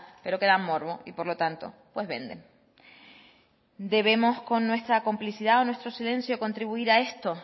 pero que dan morbo y por lo tanto pues venden debemos con nuestra complicidad o nuestro silencio contribuir a esto